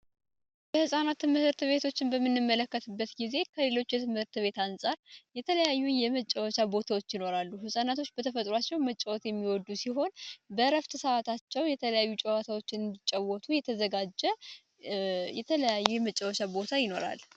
የህፃናት ትምህርት ቤቶችን በምንመለከትበት ጊዜ ከሌሎች ትምህርት ቤቶች አንጻር የተለያዩ የመጫወቻ ቦታዎች ይኖራሉ። ህጻናቶች በተፈጥሮአቸው መጫወት የሚወዱ ሲሆን በእረፍት በሰዓታቸው የተለያዩ ጨዋታዎችን እንዲጫወቱ የተዘጋጁ የተለያዩ የመጫወቻ ቦታዎች ይኖራሉ።